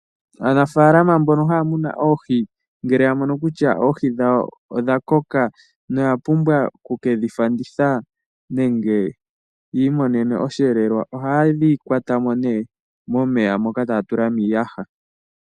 Aanafalama mbono haya munu oohi ngele ya mono kutya oohi dhawo odha koka noya pumbwa oku ke dhi fanditha nenge yi imonene osheelelwa ohaye dhi kwata mo nee momeya moka taya tula miiyaha.